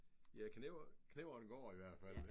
Ja knevren går i hvert fald